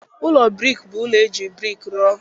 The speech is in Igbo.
Ụlọ brik bụ ụlọ ndị e ji brik rụọ